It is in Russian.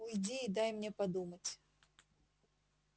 уйди и дай мне подумать